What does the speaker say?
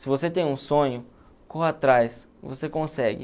Se você tem um sonho, corra atrás, você consegue.